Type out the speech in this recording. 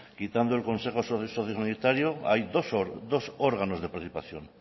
quitando el consejo sociosanitario hay dos órganos de participación